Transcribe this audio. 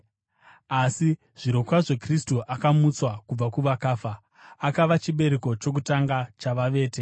Asi, zvirokwazvo Kristu akamutswa kubva kuvakafa, akava chibereko chokutanga chavavete.